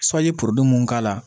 porobilɛmu mun k'a la